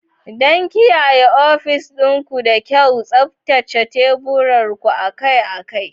Don kiyaye ofis ɗin ku da kyau, tsaftace teburin ku akai-akai.